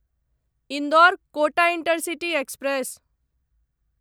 Indore Kota intercity express